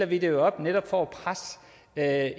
vi det jo netop for at